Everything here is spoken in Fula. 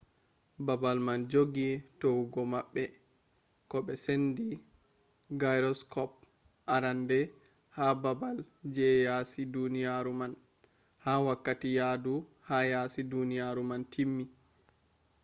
baabal man joggi towugo maɓɓe ko be sende gyroskop arande ha baabal je yaasi duniyaru man ha wakkati yahdu ha yasi duniyaru man timmi